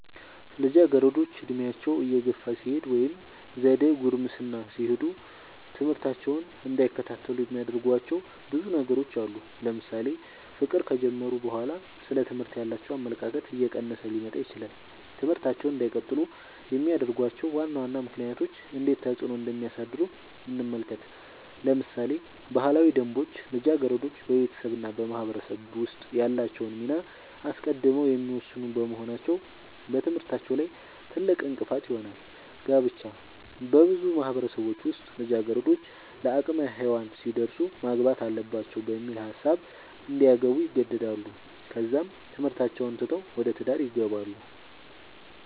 ልጃገረዶች ዕድሜያቸው እየገፋ ሲሄድ ወይም ዘደ ጉርምስና ሲሄዱ ትምህርታቸውን እንዳይከታተሉ የሚያደርጉዋቸው ብዙ ነገሮች አሉ ለምሳሌ ፍቅር ከጀመሩ በኋላ ስለ ትምህርት ያላቸው አመለካከት እየቀነሰ ሊመጣ ይችላል ትምህርታቸውን እንዳይቀጥሉ የሚያደርጉዋቸው ዋና ዋና ምክንያቶች እንዴት ተፅዕኖ እንደሚያሳድሩ እንመልከት ለምሳሌ ባህላዊ ደንቦች ልጃገረዶች በቤተሰብ እና በማህበረሰብ ውስጥ ያላቸውን ሚና አስቀድመው የሚወስኑ በመሆናቸው በትምህርታቸው ላይ ትልቅእንቅፋት ይሆናል። ጋብቻ- በብዙ ማህበረሰቦች ውስጥ ልጃገረዶች ለአቅመ ሄዋን ሲደርሱ ማግባት አለባቸው በሚል ሀሳብ እንዲያገቡ ይገደዳሉ ከዛም ትምህርታቸውን ትተው ወደ ትዳር ይገባሉ።